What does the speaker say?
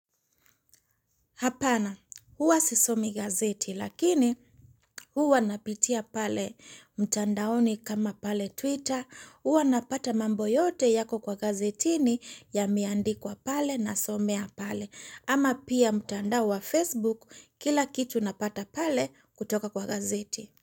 Hapana, huwa sisomi gazeti lakini huwa napitia pale mtandaoni kama pale Twitter, huwa napata mambo yote yako kwa gazetini yameandikwa pale nasomea pale. Ama pia mtandao wa Facebook kila kitu napata pale kutoka kwa gazeti.